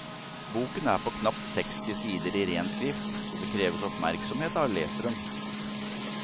Boken er på knapt seksti sider i ren skrift, så det kreves oppmerksomhet av leseren.